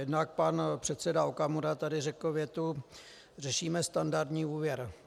Jednak pan předseda Okamura tady řekl větu "řešíme standardní úvěr".